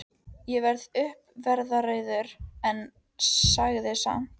Ég varð uppveðraður, en sagði samt